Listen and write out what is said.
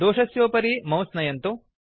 दोषस्योपरि mouse नयन्तु